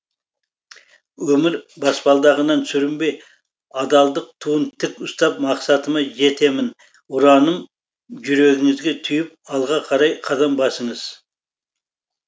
өмір басбалдағынан сүрінбей адалдық туын тік ұстап мақсатыма жетемін ұранын жүрегіңізге түйіп алға қарай қадам басыңыз